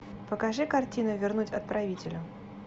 покажи картину вернуть отправителю